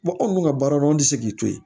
anw dun ka baara do an tɛ se k'i to yen